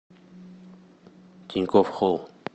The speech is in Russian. тинькофф холл